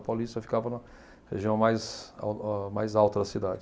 A Paulista ficava na região mais âh mais alta da cidade.